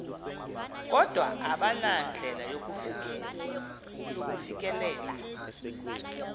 kodwa abanandlela yakufikelela